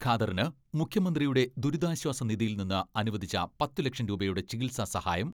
ഖാദറിന് മുഖ്യമന്ത്രിയുടെ ദുരിതാശ്വാസ നിധിയിൽനിന്ന് അനുവദിച്ച പത്ത് ലക്ഷം രൂപയുടെ ചികിത്സാ സഹായം